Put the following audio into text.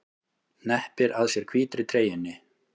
Hneppir að sér hvítri treyjunni.